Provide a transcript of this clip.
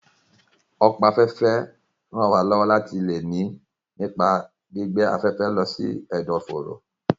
Ọ̀pá afẹ́fẹ́ ń ràn wá lọ́wọ́ láti lè mí nípa gbígbé afẹ́fẹ́ lọ sí ẹ̀dọ̀ fóró